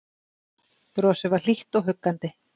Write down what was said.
Brosið var hlýtt og huggandi.